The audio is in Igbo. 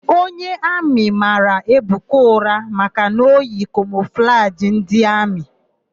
Onye amị mara Ebuka ụra maka na o yi kamọflajị ndị amị.